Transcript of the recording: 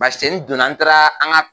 Masɛnin don na n taara an ka